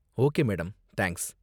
okay madam, thanks